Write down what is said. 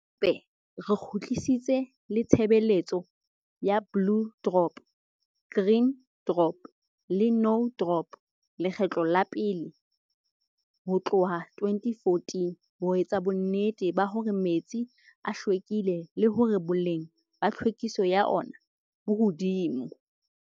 Hape re kgutlisitse le tshebeletso ya Blue Drop, Green Drop le No Drop lekgetlo la pele ho tlohka 2014 ho etsa bonnete ba hore metsi a hlwekile le hore boleng ba tlhwekiso ya ona bo hodimo.